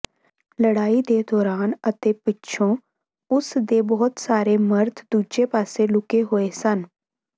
ਲੜਾਈ ਦੇ ਦੌਰਾਨ ਅਤੇ ਪਿੱਛੋਂ ਉਸ ਦੇ ਬਹੁਤ ਸਾਰੇ ਮਰਦ ਦੂਜੇ ਪਾਸੇ ਲੁਕੇ ਹੋਏ ਸਨ